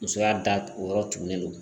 Musoya da o yɔrɔ tugunnen don